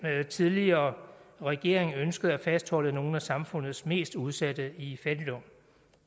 tidligere regering ønskede at fastholde nogle af samfundets mest udsatte i fattigdom